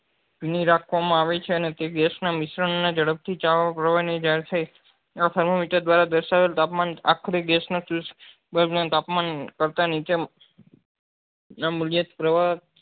રાખવા માં આવે છે અને તે gas નાં મિશ્રણ ના ઝડપ થી ચાલુ કરવા ની અહી thermometer દ્વારા દર્શાવેલ તાપમાન આખો દિવસ તાપમાન કરતા નીચે નાં મુલ્યત પ્રવાહ